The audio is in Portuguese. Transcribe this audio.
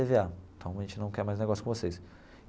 Tê Vê Á então a gente não quer mais negócio com vocês.